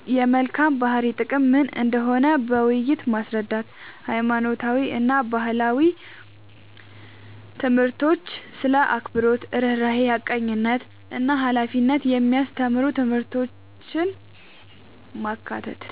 የመልካም ባህሪ ጥቅም ምን እንደሆነ በውይይት ማስረዳት። ሃይማኖታዊ እና ባህላዊ ትምህርቶች ስለ አክብሮት፣ ርህራሄ፣ ሐቀኝነት እና ሃላፊነት የሚያስተምሩ ትምህርቶችን ማካተት።